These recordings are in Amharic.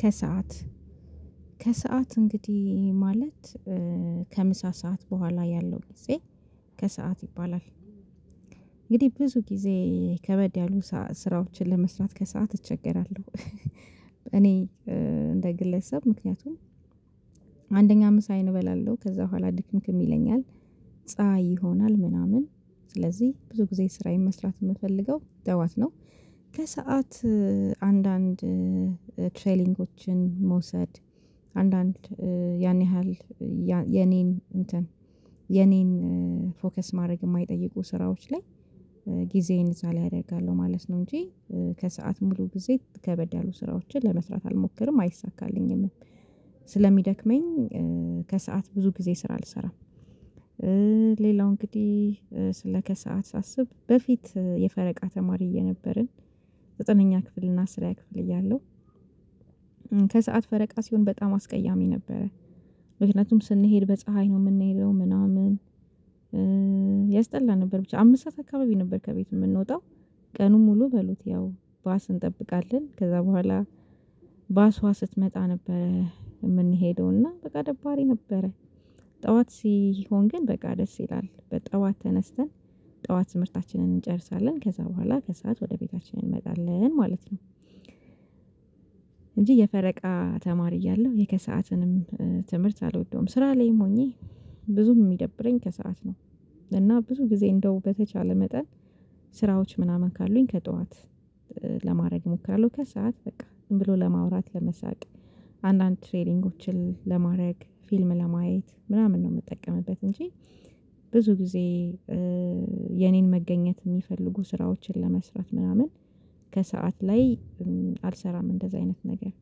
ከሰአት ከሰአት እንግዲህ ማለት ከምሳ ሰዓት በኋላ ያለው ጊዜ ከሰአት ይባላል። እንግዲህ ብዙ ጊዜ ከበድ ያሉ ስራዎችን ለመስራት ከሰአት እቸገራለሁ። እኔ እንደ ግለሰብ ምክንያቱም አንደኛ ምሳዬን እበላለሁ ከዛ በኋላ ድክምክም ይለኛል ፀሀይ ይሆናል ምናምን ስለዚህ ብዙ ጊዜ ስራዬን መስራት የምፈልገው ጠዋት ነው። ከሰአት አንዳንድ ትሬኒጎችን መውሰድ አንዳንድ ያን ያህል የኔን እንትን ፎከስ ማድረግ የማይጠይቁ ስራዎች ላይ ጊዜዬን እዛ ላይ አደርጋለሁ ማለት ነው። እንጂ ከሰአት ሙሉ ጊዜ ከበድ ያሉ ስራዎችን ለመስራት አልሞክርም አይሳካልኝምም። ስለሚደክመኝ ከሰአት ብዙ ጊዜ ስራ አልሰራም። ሌላው እንግዲህ ስለ ከሰአት ሳስብ በፊት የፈረቃ ተማሪ እየነበርን ዘጠነኛ ክፍል እና አስረኛ ክፍል እያለሁ ከሰአት ፈረቃ ሲሆን በጣም አስቀያሚ ነበረ። ምክንያቱም ስንሄድ በፀሀይ ነው የምንሄደው ምናምን ያስጠላ ነበር። ብቻ አምስት ሰዓት አካባቢ ነበር ከቤት የምንወጣው ቀኑን ሙሉ በሉት ያው ባስ እንጠብቃለን ከዛ በኋላ ባሷ ስትመጣ ነበር የምንሄደው እና በቃ ደባሪ ነበረ። ጠዋት ሲሆን ግን በቃ ደስ ይላል በጠዋት ተነስተን ጠዋት ትምህርታችንን እንጨርሳለን ከዛ በኋላ ከሰአት ወደ ቤታችን እንመጣለን ማለት ነው። እንጂ የፈረቃ ተማሪ እያለሁ የከሰአትንም ትምህርት አልወደውም ስራ ላይም ሆኜ ብዙ የሚደብረኝ ከሰአት ነው። እና ብዙ ጊዜ እንደው በተቻለ መጠን ስራዎች ምናምን ካሉኝ ከጠዋት ለማድረግ እሞክራለሁ ከሰአት በቃ ዝምብሎ ለማውራት ለመሳቅ አንዳንድ ትሬኒንጎችን ለማድረግ ፊልም ለማየት ምናምን ነው የምትጠቀምበት እንጂ። ብዙ ጊዜ የኔን መገኘት የሚፈልጉ ስራዎችን ለመስራት ምናምን ከሰአት ላይ አልሰራም እንደዚህ አይነት ነገር።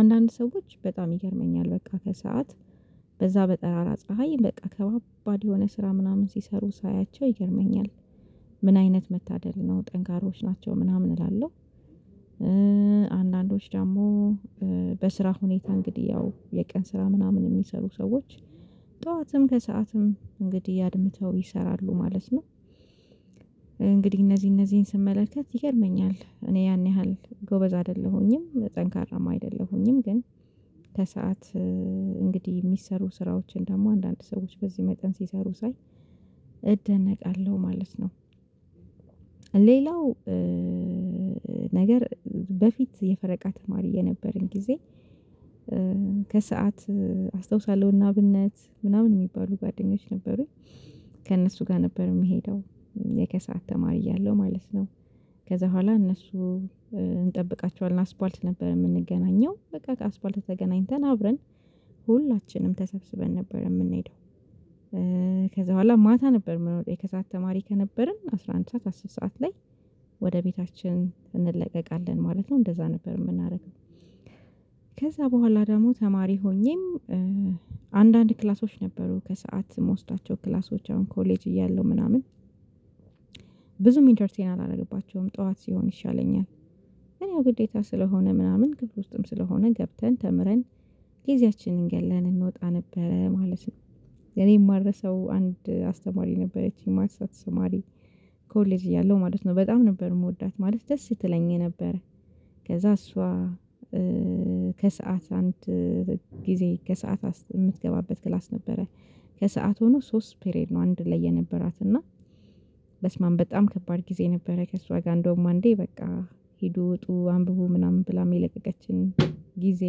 አንዳንድ ሰዎች በጣም ይገርመኛል በቃ ከሰአት በዛ በጠራራ ፀሀይ በቃ ከባባድ የሆነ ስራ ምናምን ሲሰሩ ሳያቸው ይገርመኛል። ምን አይነት መታደል ነው ጠንካራዎች ናቸው ምናምን እላለሁ። አንዳንዶች ደግሞ በስራ ሁኔታ እንግዲህ ያው የቀን ስራ ምናምን የሚሰሩ ሰዎች ጠዋትም ከሰአትም እንግዲህ አድምተው ይሰራሉ ማለት ነው። እንግዲህ እነዚህ እነዚህን ስመለከት ይገርመኛል እኔ ያን ያህል ጎበዝ አይደለሁኝም ጠንካራም አይደለሁኝም። ግን ከሰአት እንግዲህ የሚሰሩ ስራዎችን ደግሞ አንዳንድ ሰዎች በዚህ መጠን ሲሰሩ ሳይ እደነቃለሁ ማለት ነው። ሌላው ነገር በፊት የፈረቃ ተማሪ የነበረን ጊዜ ከሰአት አስታውሳለሁና እነአብነት ምናምን የሚባሉ ጓደኞች ነበሩኝ። ከእነሱ ጋር ነበር የሚሄደው የከሰአት ተማሪ እያለሁ ማለት ነው ከዛ በኋላ እነሱ እንጠብቃቸዋለን አስፋልት ነበር የምንገናኘው በቃ አስፋልት ተገናኝተን አብረን ሁላችንም ተሰብስበን ነበር የምንሄደው። ከዛ በኋላ ማታ ነበር የምንወጣው የከሰአት ተማሪ ከነበርን አስራ አንድ ሰዓት አስር ሰዓት ላይ ወደ ቤታችን እንለቀቃለን ማለት ነው እንደዛ ነበር የምናደርገው። ከዛ በኋላ ደግሞ ተማሪ ሆኜም አንዳንድ ክላሶች ነበሩ ከሰአት የምውሰዳቸው ክላሶች አሁን ኮሌጅ እያለሁ ምናምን ብዙም ኢንተርቴን አላደረግባቸውም። ጠዋት ሲሆን ይሻለኛል ግን ያው ግዴታ ስለሆነ ምናምን ክፍል ውስጥም ስለሆነ ገብተን ተምረን ጊዜያችንን ገድለን እንወጣ ነበረ ማለት ነው። የኔ የማልረሰው አንድ አስተማሪ ነበረችኝ ማትስ ስማሪ ኮሌጅ እያለሁ ማለት ነው በጣም ነበር የምወዳት ማለት ደስ ትለኝ የነበረ። ከዛ እሷ ከሰአት አንድ ጊዜ ከሰአት የምትገባበት ክላስ ነበረ ከሰአት ሆኖ ሶስት ፔሬድ ነው አንድ ላይ የነበራት እና በስማም በጣም ከባድ ጊዜ ነበረ ከእሷ ጋር እንደውም አንዴ በቃ ሄዱ ውጡ አንብቡ ምናምን ብላ የለቀቀችን ጊዜ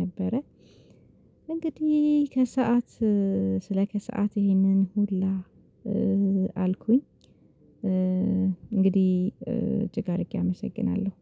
ነበረ። እንግዲህ ከሰአት ስለ ከሰአት ይሄንን ሁላ አልኩኝ እንግዲህ እጅግ አድርጌ አመሰግናለሁ